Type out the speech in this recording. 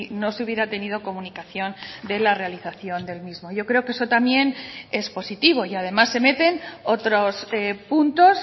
no se hubiera tenido comunicación de la realización del mismo yo creo que eso también es positivo y además se meten otros puntos